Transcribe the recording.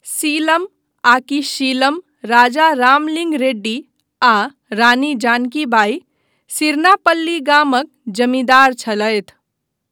सीलम आकि शीलम राजा रामलिंग रेड्डी आ रानी जानकी बाई सिरनापल्ली गामक जमींदार छलथि।